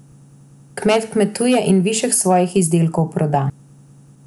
Kmet kmetuje in višek svojih izdelkov proda.